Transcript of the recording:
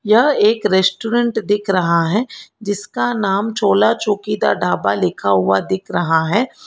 यह एक रेस्टोरेंट दिख रहा है जिसका नाम चूल्हा चौकी दा ढाबा लिखा हुआ दिख रहा है।